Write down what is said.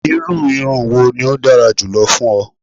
Iru irun wo ni o dara julọ fun ọ?